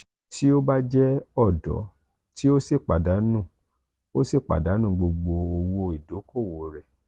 ti o ba je ọdọ ti o si padanu o si padanu gbogbo owo idoko-owo rẹ.